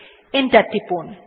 enter টিপুন